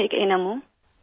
मैं एक अन्म हूँ सिर